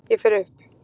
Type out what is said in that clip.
Ég fer upp.